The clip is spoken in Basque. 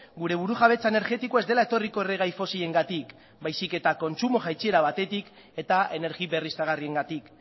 gure burujabetza energetikoa ez dela etorriko erregai fosilengatik baizik eta kontsumo jaitsiera batetik eta energia berriztagarriengatik